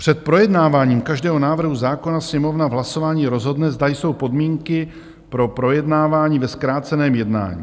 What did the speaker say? Před projednáváním každého návrhu zákona Sněmovna v hlasování rozhodne, zda jsou podmínky pro projednávání ve zkráceném jednání.